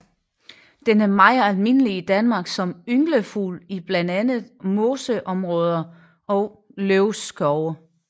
Den er meget almindelig i Danmark som ynglefugl i blandt andet moseområder og løvskove